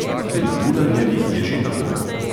Pri dularjevih je že tako.